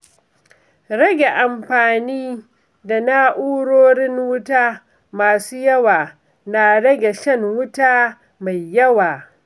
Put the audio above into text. Rage amfaani da na'urorin wuta masu yawa na rage shan wuta mai yawa.